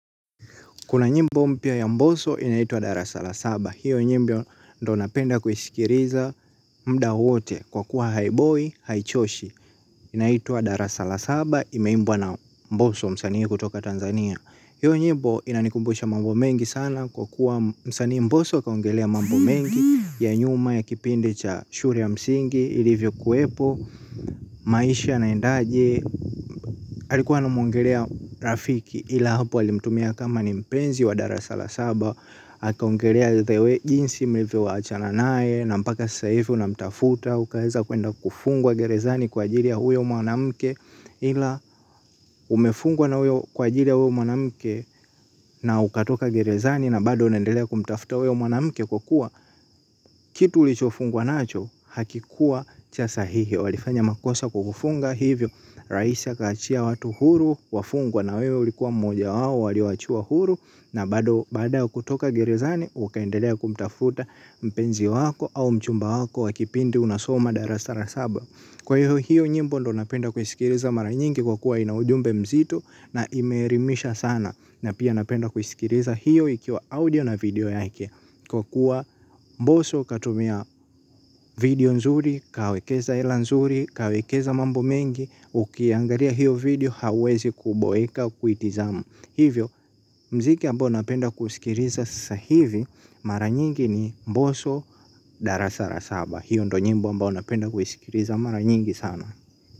Kuna nyimbo mpya ya mbosso inaitwa Darasa la Saba. Hiyo nyimbo ndiyo napenda kuiskiliza muda wote. Kwa kuwa haiboii, haichoshi. Inaitwa Darasa la Saba. Imeimbwa na mbosso msanii kutoka Tanzania. Hiyo nyimbo inanikumbusha mambo mengi sana kwa kuwa msanii mboso kaongelea mambo mengi ya nyuma ya kipindi cha shule ya msingi. Ilivyokuepo maisha inaendaje. Alikuwa na muongelea rafiki ila hapo alimtumia kama ni mpenzi wa darasa la saba akaongelea jinsi mlivyowachana naye. Na mpaka sasa hivyo unamtafuta. Ukaeza kuenda kufungwa gerezani kwa ajili ya huyo mwanamke. Hila umefungwa na huyo kwa ajiri ya huyo mwanamke. Na ukatoka gerezani na bado unaendelea kumtafuta huyo mwanamke kwa kuwa kitu ulichofungwa nacho hakikuwa cha sahihi. Walifanya makosa kukufunga hivyo. Rais akaachia watu huru wafungwa na wewe ulikuwa mmoja wao waliyoachiwa huru na baada ya kutoka gerezani ukaendelea kumtafuta mpenzi wako au mchumba wako wa kipindi unasoma darasa la saba. Kwa hivyo hiyo nyimbo ndiyo napenda kusikiliza mara nyingi kwa kuwa ina ujumbe mzito na imeelimisha sana na pia napenda kusikiliza hiyo ikiwa audio na video yake kwa kuwa mbosso katumia video nzuri, kawekeza hela nzuri, kawekeza mambo mengi, ukiangalia hiyo video hawezi kuboeka kuitizama. Hivyo mziki ambao unapenda kusikiliza sasa hivi. Mara nyingi ni mboso darasa la saba. Hiyo ndiyo nyimbo ambao napenda kuisikiliza mara nyingi sana.